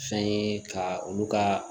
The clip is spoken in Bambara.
Fɛn ye ka olu ka